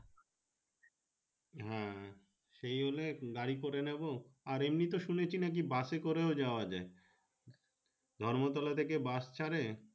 হ্যাঁ সেই হলে গাড়ি করে নিবো আর এমনি তে শুনেছি নাকি বাসএ করেও যাওয়া যাই ধর্ম তলা থাকে বাস ছারে।